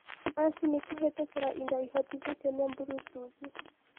machini kuhitukira indo ihotithitio ni bluetoothi